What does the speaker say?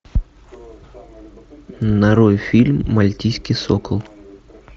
нарой фильм мальтийский сокол